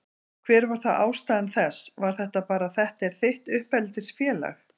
Hver var þá ástæða þess, var það bara að þetta er þitt uppeldisfélag?